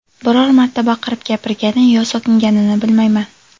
Biror marta baqirib gapirgani yo so‘kinganini bilmayman.